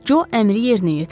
Co əmri yerinə yetirdi.